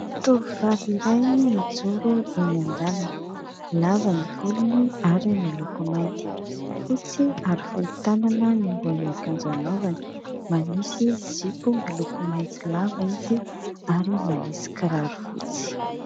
Tovovavy iray mijoro eny an-dalana. Lava ny volony ary miloko mainty, fotsy ary fohy tanana ny ambonin'akanjo anaovany. Manisy zipo miloko maitso lava izy ary manisy kiraro fotsy.